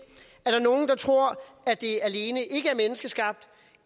er der tror at det ikke alene er menneskeskabt